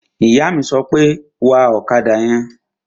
Ìyá mi sọ pé, "Wa ọ̀kadà yẹn!"